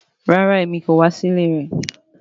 Rara Emi ko wa si ile rẹ